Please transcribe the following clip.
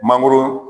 Mangoro